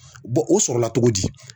o sɔrɔla cogo di